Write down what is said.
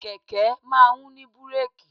Kẹ̀kẹ́ máa ń ní búrèkì.